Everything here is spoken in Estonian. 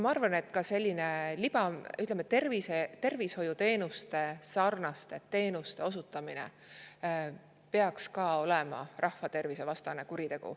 Ma arvan, et ka selline, ütleme, tervishoiuteenuse sarnase teenuse osutamine peaks olema rahvatervisevastane kuritegu.